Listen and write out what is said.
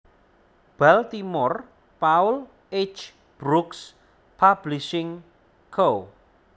Baltimore Paul H Brookes Publishing Co